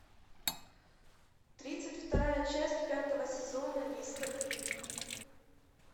тридцать вторая часть пятого сезона мистер бин